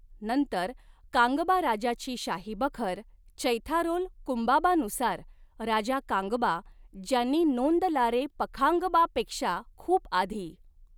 नंतर, कांगबा राजाची शाही बखर, चैथारोल कुंबाबानुसार, राजा कांगबा, ज्यांनी नोंद लारे पखांगबापेक्षा खूप आधी